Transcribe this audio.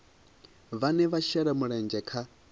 vhane vha shela mulenzhe kha